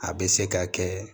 A bɛ se ka kɛ